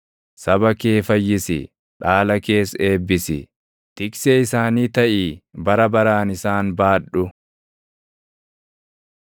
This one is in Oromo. Saba kee fayyisi; dhaala kees eebbisi; tiksee isaanii taʼii bara baraan isaan baadhu.